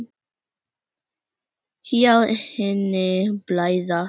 Sjá henni blæða.